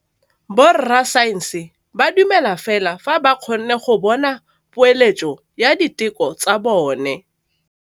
Borra saense ba dumela fela fa ba kgonne go bona poeletsô ya diteko tsa bone.